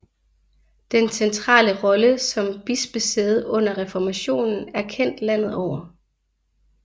Dens centrale rolle som bispesæde under reformationen er kendt landet over